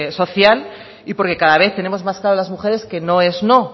social y porque cada vez tenemos más claro las mujeres que no es no